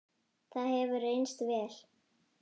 það hefur reynst vel.